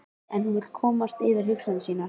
En hún vill komast yfir hugsanir sínar.